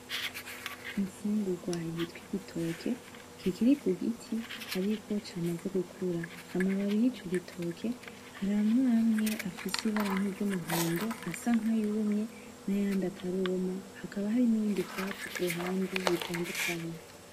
Imfugurwa yitwa igitoke, kikiri ku giti ariko camaze gukura. Amababi yico gitoke, hari amwe amwe afise ibara nkiry'umuhondo asa nkayumye, n'ayandi ataruma hakaba hari n'ibindi vyatsi kuruhande bitandukanye.